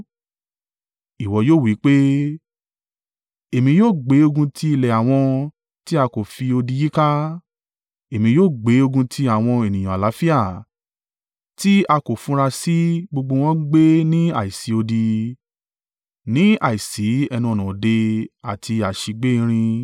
Ìwọ yóò wí pé, “Èmi yóò gbé ogun ti ilẹ̀ àwọn tí a kò fi odi yíká, Èmi yóò gbé ogun ti àwọn ènìyàn àlàáfíà tí a kò funra sí gbogbo wọn ń gbé ní àìsí odi, ní àìsí ẹnu-ọ̀nà òde àti àsígbè-irin.